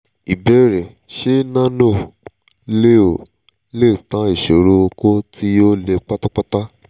ìbéèrè: ṣé nano-leo lè tán ìsòro okó tí ò le pátápátá?